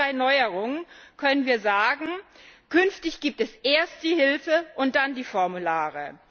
Für diese drei Neuerungen können wir sagen Künftig gibt es erst die Hilfe und dann die Formulare.